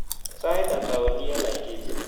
Sait ata oli eng Laikipia